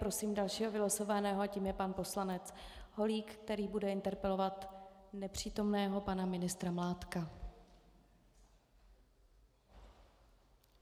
Prosím dalšího vylosovaného a tím je pan poslanec Holík, který bude interpelovat nepřítomného pana ministra Mládka.